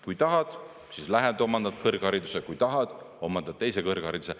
Kui tahad, lähed omandad kõrghariduse, kui tahad, omandad teise kõrghariduse.